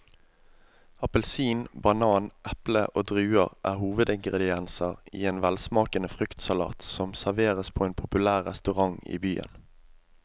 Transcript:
Appelsin, banan, eple og druer er hovedingredienser i en velsmakende fruktsalat som serveres på en populær restaurant i byen.